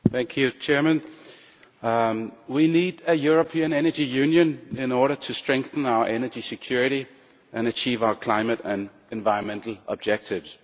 Madam President, we need a European Energy Union in order to strengthen our energy security and achieve our climate and environmental objectives.